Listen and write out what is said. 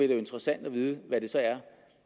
være interessant at vide hvad det så er